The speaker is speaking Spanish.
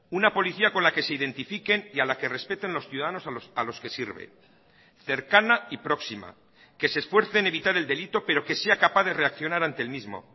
una policía con la que se identifiquen y a la que respeten los ciudadanos a los que sirven cercana y próxima que se esfuerce en evitar el delito pero que sea capaz de reaccionar ante el mismo